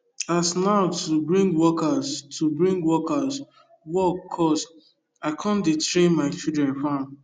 as now to bring workers to bring workers work cost i con dey train my children farm